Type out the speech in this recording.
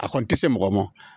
A kɔni tɛ se mɔgɔ ma